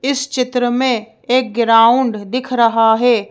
इस चित्र में एक ग्राउंड दिख रहा है।